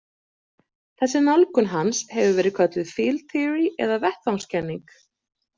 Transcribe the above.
Þessi nálgun hans hefur verið kölluð „Field Theory“ eða vettvangskenning.